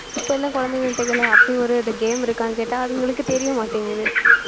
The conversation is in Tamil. இப்ப எல்லாம் குழந்தைங்கள்ட்ட கேளு அப்படி ஒரு game இருக்கான்னு கேட்டா அவங்களுக்கு தெரிய மாட்டேங்குது